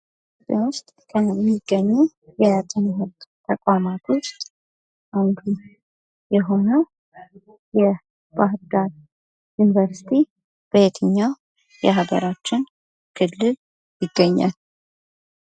ኢትዮጵያ ውስጥ ከሚገኙ የትምህርት ተቋማት ውስጥ አንዱ የሆነው የባህር ዳር ዩኒቨርስቲ በየትኛው የሀገራችን ክልል ይገኛል ?